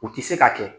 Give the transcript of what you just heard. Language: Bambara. U tɛ se ka kɛ